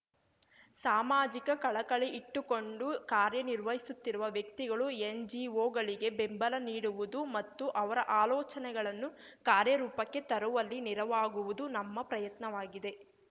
ಸಾಮಾಜಿಕ ಕಳಕಳಿ ಇಟ್ಟುಕೊಂಡು ಕಾರ್ಯ ನಿರ್ವಹಿಸುತ್ತಿರುವ ವ್ಯಕ್ತಿಗಳು ಎನ್‌ಜಿಒಗಳಿಗೆ ಬೆಂಬಲ ನೀಡುವುದು ಮತ್ತು ಅವರ ಆಲೋಚನೆಗಳನ್ನು ಕಾರ್ಯರೂಪಕ್ಕೆ ತರುವಲ್ಲಿ ನೆರವಾಗುವುದು ನಮ್ಮ ಪ್ರಯತ್ನವಾಗಿದೆ